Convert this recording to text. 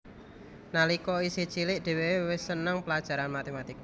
Nalika isih cilih dheweke wis seneng pelajaran matematika